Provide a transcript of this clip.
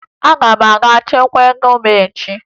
Aga m aga chekwaa ego m echi